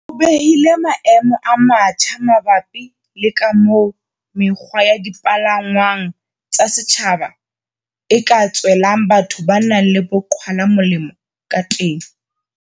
O behile maemo a matjha mabapi le ka moo mekgwa ya dipalangwang tsa setjhaba e ka tswelang batho ba nang le bo qhwala molemo ka teng.